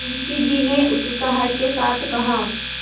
मुंशी जी ने उत्साह के साथ कहा